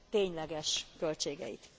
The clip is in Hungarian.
tényleges költségeit.